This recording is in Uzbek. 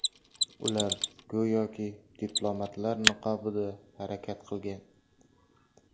Ular go‘yoki diplomatlar niqobida harakat qilgan.